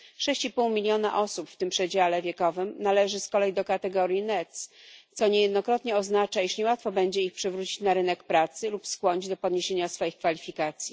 Sześć i pół miliona osób w tym przedziale wiekowym należy z kolei do kategorii NEET, co niejednokrotnie oznacza, że niełatwo będzie ich przywrócić na rynek pracy lub skłonić do podniesienia swoich kwalifikacji.